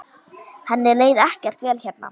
Henni leið ekkert vel hérna.